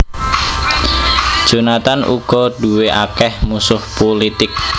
Jonathan uga duwé akèh musuh pulitik